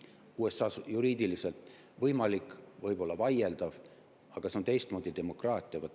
USA-s on see juriidiliselt võimalik, see võib olla vaieldav, aga see on teistmoodi demokraatia.